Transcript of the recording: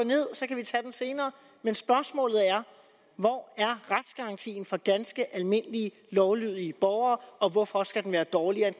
ned og så kan vi tage den senere men spørgsmålet er hvor er retsgarantien for ganske almindelige lovlydige borgere og hvorfor skal den være dårligere